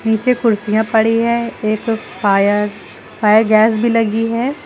पीछे कुर्सियां पड़ी है एक फायर फायर गैस भी लगी है।